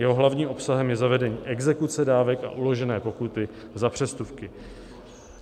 Jeho hlavním obsahem je zavedení exekuce dávek a uložené pokuty za přestupky.